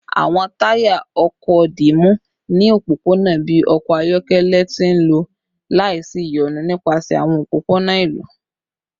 Awọn taya ọkọ dimu ni opopona bi ọkọ ayọkẹlẹ ti nlọ laisiyonu nipasẹ awọn opopona ilu